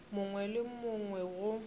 mongwe le yo mongwe go